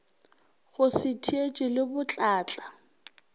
go se theetše le botlatla